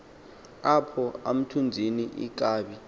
apho umthunzini inkabi